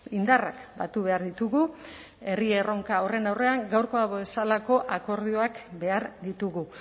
indarrak batu behar ditugu herri erronka horren aurrean gaurkoa bezalako akordioak behar ditugu